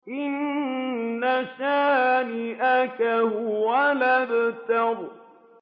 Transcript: إِنَّ شَانِئَكَ هُوَ الْأَبْتَرُ